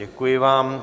Děkuji vám.